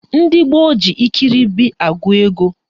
Ndị gboo ji ikiribi agụ ego